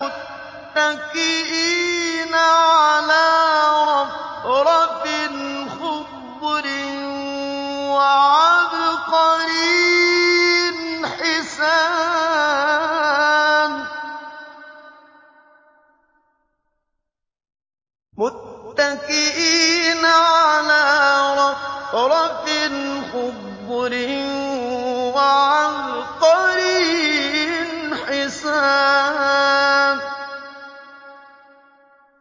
مُتَّكِئِينَ عَلَىٰ رَفْرَفٍ خُضْرٍ وَعَبْقَرِيٍّ حِسَانٍ